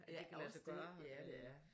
Ja også det ja det er